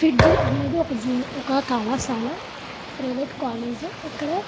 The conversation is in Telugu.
ఫిట్జీజీ అనేది ఒక జూనియర్ ఒక కళాశాల ప్రైవేట్ కాలేజ్ ఇక్కడ --